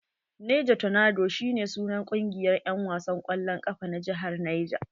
Niger tornadoea shi ne sunan kungiyar en wasan kwallon kafa na jihar Niger.